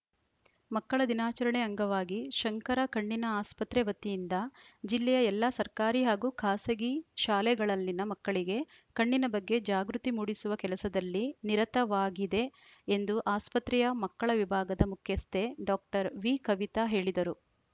ಮಕ್ಕಳ ದಿನಾಚರಣೆ ಅಂಗವಾಗಿ ಶಂಕರ ಕಣ್ಣಿನ ಆಸ್ಪತ್ರೆ ವತಿಯಿಂದ ಜಿಲ್ಲೆಯ ಎಲ್ಲ ಸರ್ಕಾರಿ ಹಾಗೂ ಖಾಸಗಿ ಶಾಲೆಗಳಲ್ಲಿನ ಮಕ್ಕಳಿಗೆ ಕಣ್ಣಿನ ಬಗ್ಗೆ ಜಾಗೃತಿ ಮೂಡಿಸುವ ಕೆಲಸದಲ್ಲಿ ನಿರತವಾಗಿದೆ ಎಂದು ಆಸ್ಪತ್ರೆಯ ಮಕ್ಕಳ ವಿಭಾಗದ ಮುಖ್ಯಸ್ಥೆ ಡಾಕ್ಟರ್ ವಿಕವಿತ ಹೇಳಿದರು